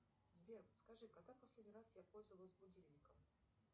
сбер подскажи когда в последний раз я пользовалась будильником